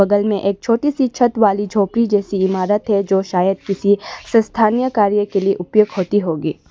बगल में एक छोटी सी छत वाली झोपड़ी जैसी इमारत है जो शायद किसी स्थानीय कार्य के लिए उपयोग होती होगी।